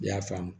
I y'a faamu